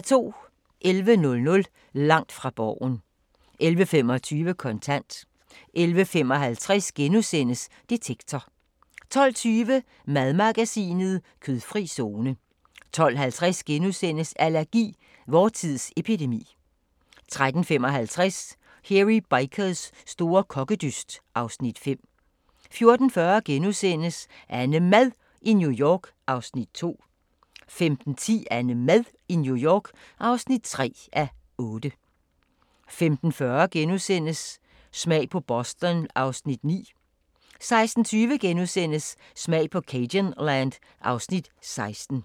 11:00: Langt fra Borgen 11:25: Kontant 11:55: Detektor * 12:20: Madmagasinet: Kødfri zone 12:50: Allergi: Vor tids epidemi * 13:55: Hairy Bikers store kokkedyst (Afs. 5) 14:40: AnneMad i New York (2:8)* 15:10: AnneMad i New York (3:8) 15:40: Smag på Boston (Afs. 9)* 16:20: Smag på cajunland (Afs. 16)*